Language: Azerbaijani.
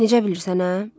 Necə bilirsən, hə?